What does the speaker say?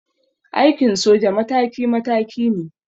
Aikin soja mataki mataki ne.